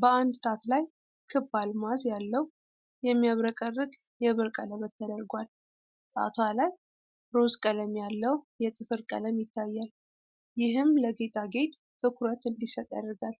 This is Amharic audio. በአንድ ጣት ላይ ክብ አልማዝ ያለው የሚያብረቀርቅ የብር ቀለበት ተደርጓል። ጣቷ ላይ ሮዝ ቀለም ያለው የጥፍር ቀለም ይታያል፣ ይህም ለጌጣጌጥ ትኩረት እንዲሰጥ ያደርጋል።